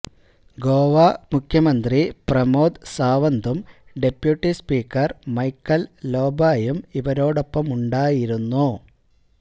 ഗോവ മുഖ്യമന്ത്രി പ്രമോദ് സാവന്തും deputy speaker Michael ലോബായും ഇവരോടൊപ്പമുണ്ടായിരുന്നു